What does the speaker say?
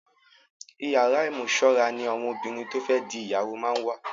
Ìyàrá ìmúsọra ní àwọn obìnrin to fe di ìyàwó máa ń wà.